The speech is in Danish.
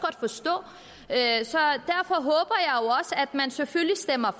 at man selvfølgelig stemmer